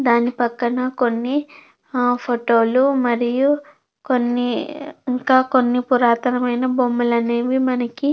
దాని పక్కన కొన్ని ఆ ఫోటో లు మరియు కొన్ని పౌసెవ్ ఇంకా కొన్ని పురాతనమైన బొమ్మలనేవి మనకి--